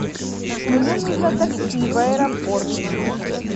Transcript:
мне нужно такси в аэропорт